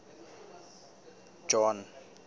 john